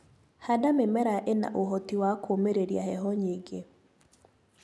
Handa mĩmera ĩna ũhoti wa kũumĩrĩria heho nyingĩ.